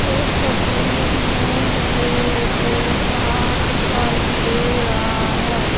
इस तस्वीर में मुझे एक पहाड़ दिखाई दे रहा है।